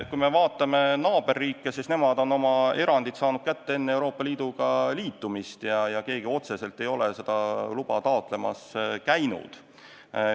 Kui me vaatame naaberriike, siis nemad on oma erandid saanud kätte enne Euroopa Liiduga liitumist ja keegi otseselt ei ole seda luba taotlemas käinud.